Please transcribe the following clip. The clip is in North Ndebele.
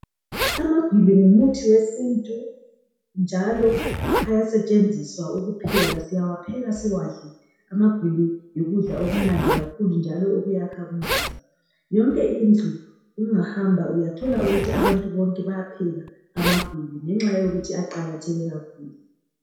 Amagwili ngumuthi wesintu njalo ayasetshenziswa ukupheka. Siyawapheka siwadle. Amagwili yikudla okumnandi kakhulu njalo okwakha umzimba. Yonke indlu ungahamba uyathola ukuthi abantu bonke bayapheka amagwili ngenxa yokuthi aqakatheke kakhulu